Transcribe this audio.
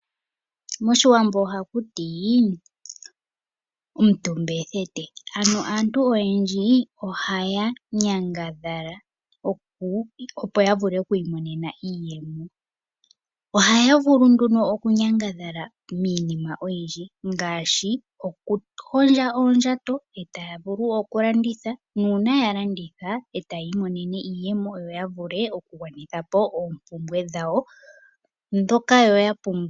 Moshiwambo ohakuti " omutumba ethete" aantu oyendji ohaya nyangadhala opo yavule oku imonena iiyemo. Ohaya vulu nduno okunyangadhala miinima oyindji ngaashi okuhondja oondjato eta ya vulu okulanditha nuuna ya landitha oha yi imonenemo iiyemo yo yavule okugwanithapo oompumbwe dhawo ndhoka yo ya pumbwa.